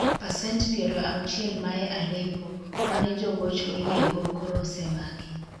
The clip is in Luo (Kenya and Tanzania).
pacent piero auchiel mae Aleppo, mane jogoch oyie go koro osemaki